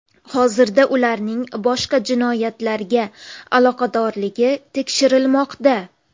Hozirda ularning boshqa jinoyatlarga aloqadorligi tekshirilmoqda.